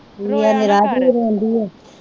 ਰੋਇਆ ਨਾ ਕਰ